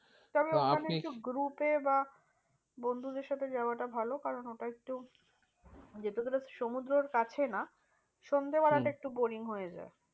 তবে ওখানে একটু group এ বা বন্ধুদের সাথে যাওয়াটা ভালো কারণ ওটা একটু যেহেতু কি ওটা সমুদ্রের কাছে না সন্ধ্যে বেলাটা একটু boring হয়ে যায়।